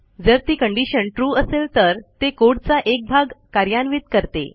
जर ती condition true असेल तर ते कोड चा एक भाग कार्यान्वित करते